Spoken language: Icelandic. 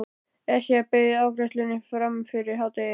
Esja beið afgreiðslu fram yfir hádegi.